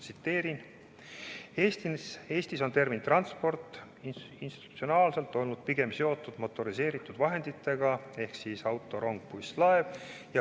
Tsiteerin: "Eestis on termin "transport" institutsionaalselt olnud pigem seotud motoriseeritud vahenditega ehk siis auto, rong, buss, laev.